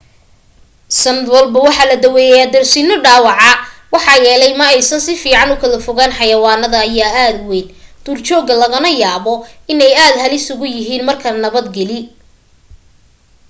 sanad walba waxaa la daweeya darsino dhaawaca maxaa yeelay ma aysan sifiican ukala fogaan xayawaanadan ayaa aad u weyn duur jooga lagana yaaba in ay aad halis u yihiin marka nabad gali